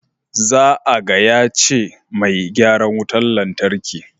Za a gaya ce mai gyaran wutan lantarkin.